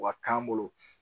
U ka k'an bolo.